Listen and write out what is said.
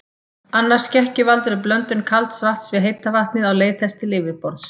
Annar skekkjuvaldur er blöndun kalds vatns við heita vatnið á leið þess til yfirborðs.